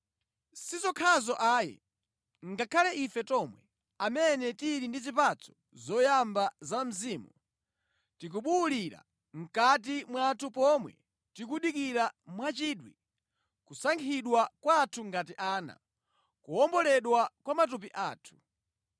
Si zokhazo ayi, ngakhale ife tomwe, amene tili ndi zipatso zoyamba za Mzimu, tikubuwulira mʼkati mwathu pomwe tikudikira mwachidwi kusankhidwa kwathu ngati ana, kuwomboledwa kwa matupi athu.